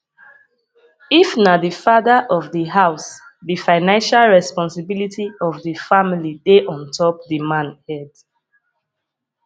if na di father of di house di financial responsibility of di family dey ontop di man head